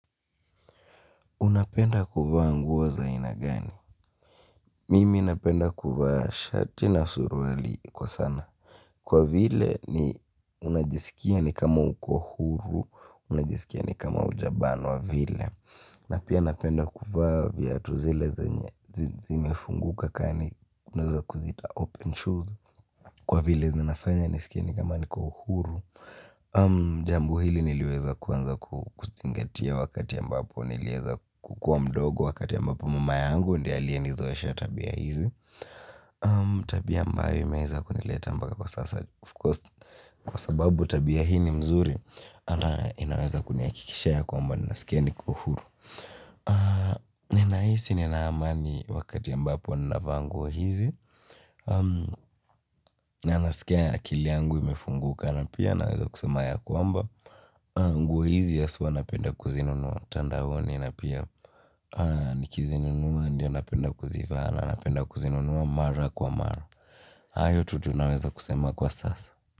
Unapenda kuvaa nguo za aina gani? Mimi napenda kuvaa shati na suruali kwa sana. Kwa vile ni unajisikia ni kama uko huru, unajisikia ni kama hujabanwa wa vile. Na pia napenda kuvaa viatu zile zenye, zimefunguka kaa ni unaeza kuziita open shoes. Kwa vile zinafanya nisikie ni kama niko huru. Jambo hili niliweza kuanza kuzingatia wakati ambapo niliweza kukua mdogo ambapo mama yangu ndiye aliyenizoesha tabia hizi. Tabia ambayo imeza kunileta mpaka kwa sasa of course kwa sababu tabia hii ni mzuri na inaweza kunihakikishia kwamba ninasikia niko huru ninahisi nina amani wakati ambapo ninavaa nguo hizi. Na nasikia ya akili yangu imefunguka na pia naweza kusema ya kwamba nguo hizi ya haswa napenda kuzinunua mtandaoni na pia nikizinunua ndio napenda kuzivaa na napenda kuzinunua mara kwa mara. Hayo tu tunaweza kusema kwa sasa.